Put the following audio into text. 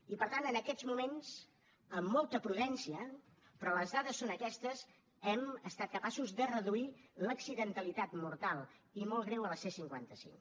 i per tant en aquests moments amb molta prudència però les dades són aquestes hem estat capaços de reduir l’accidentalitat mortal i molt greu a la c cinquanta cinc